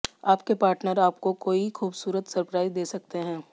आपके पार्टनर आपको कोई खूबसूरत सरप्राइज दे सकते हैं